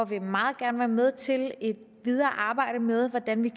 vil meget gerne være med til et videre arbejde med hvordan vi